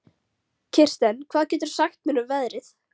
Kirsten, hvað geturðu sagt mér um veðrið?